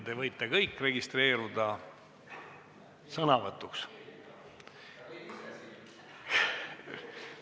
Te võite kõik registreeruda sõnavõtuks.